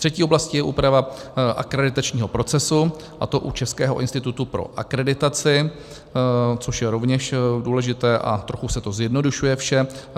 Třetí oblastí je úprava akreditačního procesu, a to u Českého institutu pro akreditaci, což je rovněž důležité a trochu se to zjednodušuje vše.